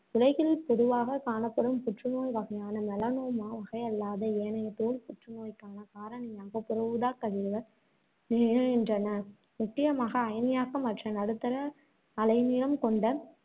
உலகில் பொதுவாகக் காணப்படும் புற்றுநோய் வகையான, melanoma வகையல்லாத ஏனைய தோல் புற்று நோய்க்கான காரணியாக புற ஊதாக்கதிர்கள் திகழ்கின்றன, முக்கியமாக அயனியாக்கமற்ற, நடுத்தர அலைநீளம் கொண்ட